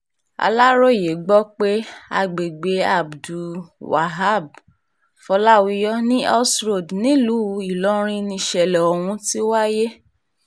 aláròye gbọ́ pé agbègbè abdul-waheb fọ́láwíyọ̀ ni oss road nílùú ìlọrin níṣẹ̀lẹ̀ ohun tí wáyé